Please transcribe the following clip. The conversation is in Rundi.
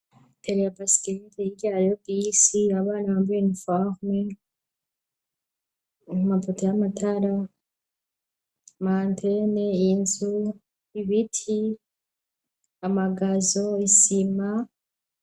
Telea basikeliti irya yo bi si rabana bambaye imfarume mu maputa y'amatara mantene inzu ibiti amagazo isima.